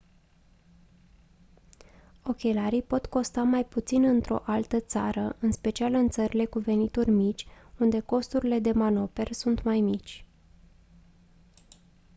ochelarii pot costa mai puțin într-o altă țară în special în țările cu venituri mici unde costurile de manoperă sunt mai mici